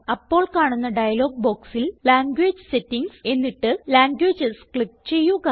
അപ്പോൾ കാണുന്ന ഡയലോഗ് ബോക്സിൽ ലാംഗ്വേജ് സെറ്റിംഗ്സ് എന്നിട്ട് ലാംഗ്വേജസ് ക്ലിക്ക് ചെയ്യുക